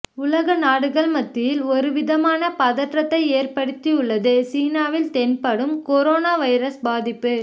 உலக நாடுகள் மத்தியில் ஒரு விதமான பதற்றத்தை ஏற்படுத்தியுள்ளது சீனாவில் தென்படும் கரோனோ வைரஸ் பாதிப்பு